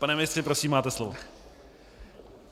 Pane ministře, prosím, máte slovo.